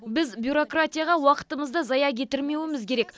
біз бюрократияға уақытымызды зая кетірмеуіміз керек